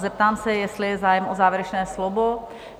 Zeptám se, jestli je zájem o závěrečné slovo?